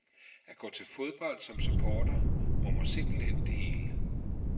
At gå til fodbold som supporter rummer simpelt hen det hele.